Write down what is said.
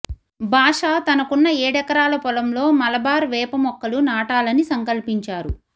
బాషా తనకున్న ఏడెకరాల పొలంలో మలబార్ వేప మొక్కలు నాటాలని సంక్పలించారు